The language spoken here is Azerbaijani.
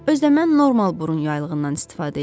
Özdə mən normal burun yaylığından istifadə eləyirəm.